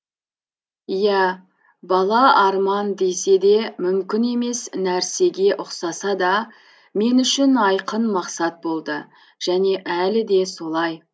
ия бала арман деседе мүмкін емес нәрсеге ұқсасада мен үшін айқын мақсат болды және әлі де солай